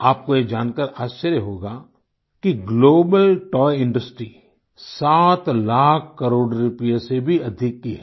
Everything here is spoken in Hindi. आपको ये जानकार आश्चर्य होगा कि global toy industry 7 lakh crore रुपये से भी अधिक की है